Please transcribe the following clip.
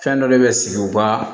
Fɛn dɔ de bɛ sigi u ka